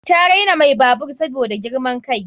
Ta raina mai babur saboda girman kai.